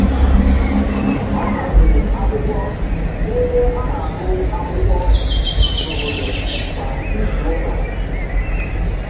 Ọ haziri akwụkwọ n'ebe a na-agụ akwụkwọ n'obodo kwa izuụka.